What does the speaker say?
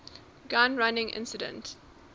gun running incident